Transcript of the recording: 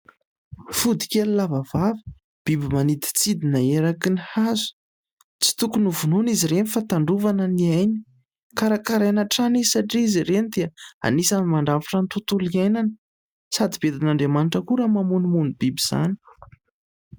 Fodikely lava vava, biby maniditsidina eraky ny hazo. Tsy tokony ho vonoana izy ireny fa tandrovana ny ainy, karakaraina hatrany izy satria izy ireny dia anisan'ny mandrafitra ny tontolo iainana sady bedin'Andriamanitra koa raha mamonomono biby izany.